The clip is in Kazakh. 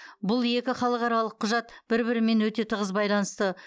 бұл екі халықаралық құжат бір бірімен өте тығыз байланысты